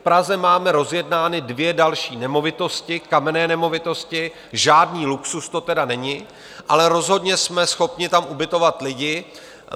V Praze máme rozjednány dvě další nemovitosti, kamenné nemovitosti, žádný luxus to tedy není, ale rozhodně jsme schopni tam ubytovat lidi.